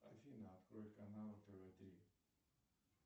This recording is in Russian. афина открой канал тв три